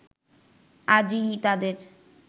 আজই তাদের